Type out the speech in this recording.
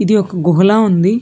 ఇది ఒక గుహ ల ఉంది.